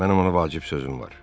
Mənim ona vacib sözüm var.